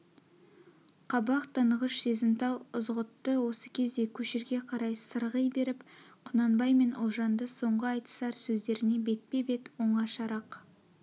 қабақ танығыш сезімтал ызғұтты осы кезде көшірге қарай сырғи беріп құнанбай мен ұлжанды соңғы айтысар сөздерне бетпе-бет оңашарақ